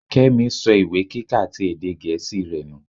Kémi so ìwé kíka ti èdè gẹ̀ẹ́sì rẹ nù.